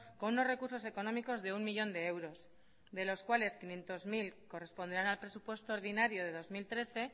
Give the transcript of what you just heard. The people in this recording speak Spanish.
con unos recursos económicos de uno millón de euros de los cuales quinientos mil corresponderán al presupuesto ordinario de dos mil trece